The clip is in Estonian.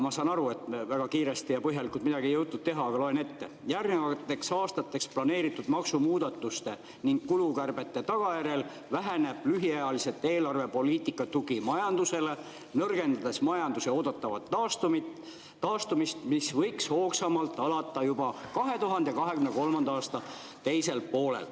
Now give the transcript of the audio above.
Ma saan aru, et oli väga kiire ja põhjalikult midagi ei jõutud teha, aga loen ette: järgnevateks aastateks planeeritud maksumuudatuste ning kulukärbete tagajärjel väheneb lühiajaliselt eelarvepoliitika tugi majandusele, nõrgendades majanduse oodatavat taastumist, mis võiks hoogsamalt alata juba 2023. aasta teisel poolel.